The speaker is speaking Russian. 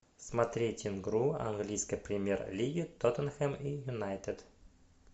смотреть игру английской премьер лиги тоттенхэм и юнайтед